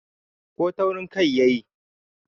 ko taurin Kai ya yi?